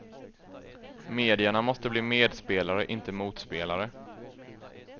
Medierna måste bli medspelare inte motspelare.